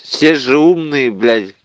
все же умные блять